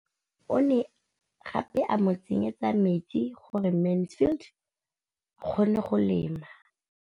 O ne gape a mo tsenyetsa metsi gore Mansfield a kgone go lema.